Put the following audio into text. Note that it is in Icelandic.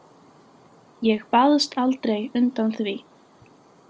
Ég baðst aldrei undan því.